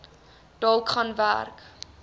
dalk gaan werk